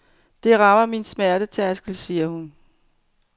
Det rammer min smertetærskel, siger hun.